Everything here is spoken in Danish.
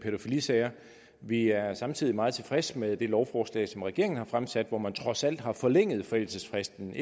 pædofilisager vi er samtidig meget tilfredse med det lovforslag som regeringen har fremsat og hvormed man trods alt har forlænget forældelsesfristen